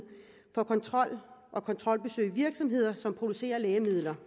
for kontrol og kontrolbesøg i virksomheder som producerer lægemidler